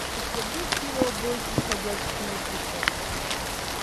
у тебя будет кино бойтесь ходячих мертвецов